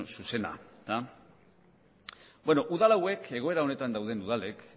zuzena beno udal hauek egoera honetan dauden udalek